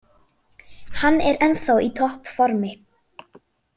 Hann er ennþá í topp formi.